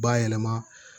Bayɛlɛma